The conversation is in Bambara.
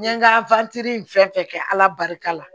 N ye n ka fɛn fɛn kɛ ala barika la